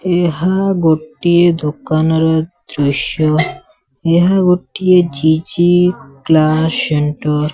ଏହା ଗୋଟିଏ ଦୋକାନର ଦୃଶ୍ଯ ଏହା ଗୋଟିଏ ଜି_ଜି କ୍ଲାସ ସେଣ୍ଟର ।